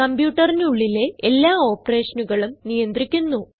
കംപ്യൂട്ടറിനുള്ളിലെ എല്ലാ operationനുകളും നിയന്ത്രിക്കുന്നു